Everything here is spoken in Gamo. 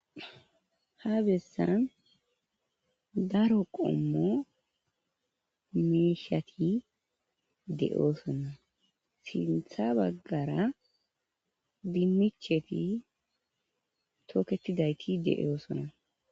Ha besan Dario qomo mishati de'osona sintha bagara dinicheti toketidayti de'osona